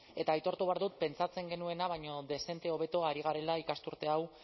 eta aitortu behar dut pentsatzen genuena baino dezente hobeto ari garela ikasturte hau